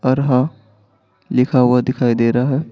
अरहा लिखा हुआ दिखाई दे रहा है।